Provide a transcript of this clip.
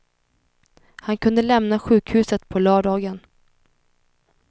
Han kunde lämna sjukhuset på lördagen.